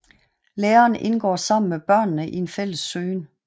Læreren indgår sammen med børnene i en fælles søgen